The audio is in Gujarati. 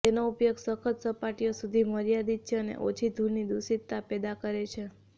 તેનો ઉપયોગ સખત સપાટીઓ સુધી મર્યાદિત છે અને ઓછી ધૂળની દૂષિતતા પેદા કરે છે